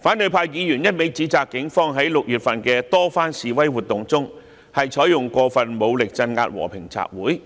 反對派議員一味指責警方在6月份的多番示威活動中，採用過分武力鎮壓和平集會，